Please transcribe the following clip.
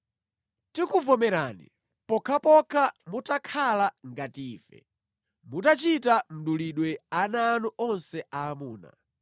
Tikuvomerani pokhapokha mutakhala ngati ife, mutachita mdulidwe ana anu onse aamuna.